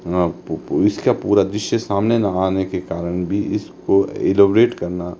इसका पूरा दृश्य सामने ना आने के कारण भी इसको इलाबोरेट करना--